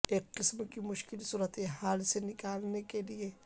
ایک قسم کی مشکل صورتحال سے نکالنے کے لئے